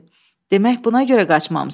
Demək buna görə qaçmamısan.